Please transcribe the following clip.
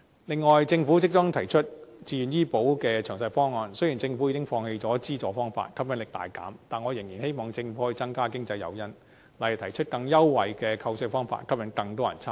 另外，政府即將提出自願醫保計劃的詳細方案，雖然政府已放棄了資助方法，吸引力大減，但我仍然希望政府可以增加經濟誘因，例如提出更優惠的扣稅方法，吸引更多人參加。